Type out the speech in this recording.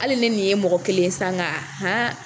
Hali ni nin ye mɔgɔ kelen ye sa nka haan!